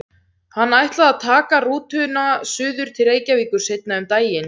Hann ætlaði að taka rútuna suður til Reykjavíkur seinna um daginn.